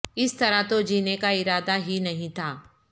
اس طرح تو جینے کا ارادہ ہی نہیں تھا